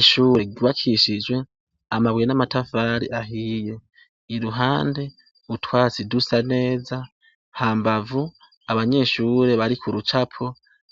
Ishure ryubakishijwe amabuye n'amatafari ahiye iruhande utwatsi dusa neza hambavu abanyeshure bari ku rucapo